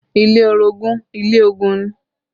Ilé orogun ilé ogun ni